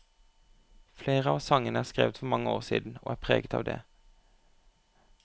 Flere av sangene er skrevet for mange år siden, og er preget av det.